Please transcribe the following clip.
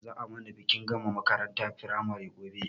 Za a mana bikin gama makarantar firamare gobe